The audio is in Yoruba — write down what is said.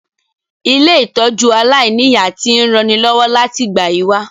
Ilé-ìtójú aláìniya ti n ranilọ́wọ́ láti ìgbà yi wa